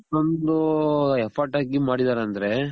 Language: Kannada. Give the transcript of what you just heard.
ಇಷ್ಟೊಂದು effort ಹಾಕಿ ಮಾಡಿದಾರೆ ಅಂದ್ರೆ